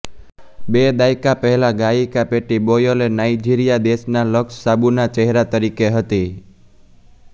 બે દાયકા પહેલાં ગાયિકા પૈટી બૉયલે નાઇજીરિયા દેશમાં લક્સ સાબુના ચહેરા તરીકે હતી